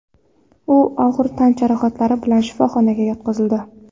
U og‘ir tan jarohatlari bilan shifoxonaga yotqizildi.